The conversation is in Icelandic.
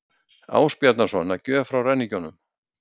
Ásbjarnarson að gjöf frá ræningjunum.